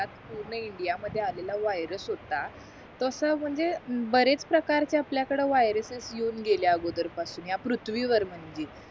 पूर्ण इंडिया मध्ये आलेला वायर्स होता तसा म्हणजे बरेच प्रकारचे आपल्या कडे वाय्रासेस येऊन गेले अगोदर पासून ह्या पृथ्वीवर म्हणजे